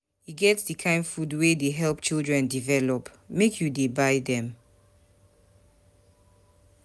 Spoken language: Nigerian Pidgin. E get di kain food wey dey help children develop, make you dey buy dem.